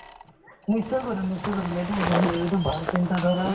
নিশ্চয় কৰিম নিশ্চয় কৰিম এইটো ভল~ এইটো ভাল চিন্তাধাৰা